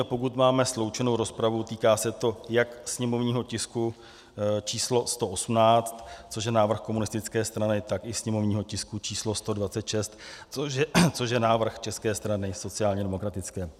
A pokud máme sloučenou rozpravu, týká se to jak sněmovního tisku číslo 118, což je návrh komunistické strany, tak i sněmovního tisku číslo 126, což je návrh České strany sociálně demokratické.